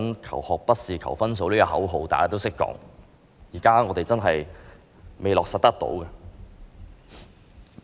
"求學不是求分數"這口號大家都懂得說，但我們現時真的未能落實。